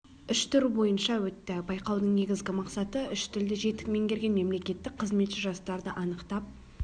үш тур бойынша өтті байқаудың негізгі мақсаты үш тілді жетік меңгерген мемлекеттік қызметші жастарды анықтап